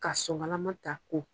Ka sokalama ta ko